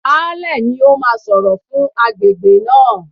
Baálẹ̀ ni ó máa sọ̀rọ̀ fún agbègbè náà.